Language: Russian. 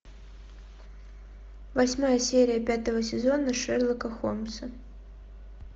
восьмая серия пятого сезона шерлока холмса